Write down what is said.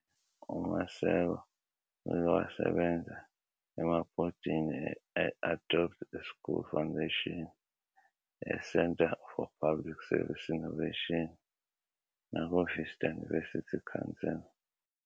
UMaseko uke wasebenza emabhodini e-Adopt a School Foundation, eCentre for Public Service Innovation nakuVista University Council.